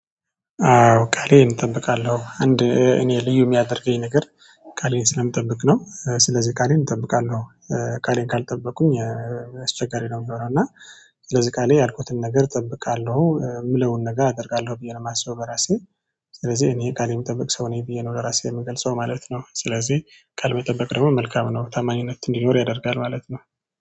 አዎ ቃሌን እጠብቃለሁ አንድ እኔ ልዩ የሚያደርገኝ ነገር ቃሌን ስለምጠብቅ ነው። ስለዚህ ቃሌን እጠብቃለሁ አዎ። ቃሌን ካልጠበቁኝ። አስቸጋሪ ነው የሚሆነው እና። ስለዚህ ቃሌ ያልኩትን ነገር እጠብቃለሁ የምለውን ነገር አደርጋለሁ ብዬ ነው የማስበው በራሴ። ስለዚህ እኔ ቃል የምጠብቅ ሰው ነኝ ብዬ ነው ለራሴ የምገልጸው ማለት ነው። ስለዚህ ቃል መጠበቅ መልካም ነው ታማኝነት እንዲኖር ያደርጋል ማለት ነው